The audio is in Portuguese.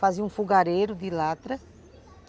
Fazíamos um fogareiro de lata.